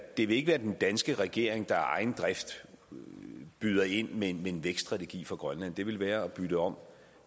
det vil ikke være den danske regering der af egen drift byder ind med en vækststrategi for grønland det ville være at bytte om